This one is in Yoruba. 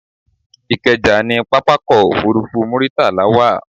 Ìkẹjà ni pápákọ̀ òfurufú Muritala wà